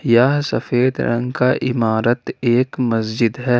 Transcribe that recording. यह सफेद रंग का इमारत एक मस्जिद है।